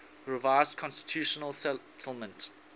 revised constitutional settlement